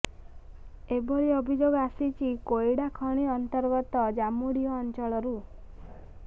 ଏଭଳି ଅଭିଯୋଗ ଆସିଛି କୋଇଡା ଖଣି ଅନ୍ତର୍ଗତ ଜାମୁଡିହ ଅଞ୍ଚଳରୁ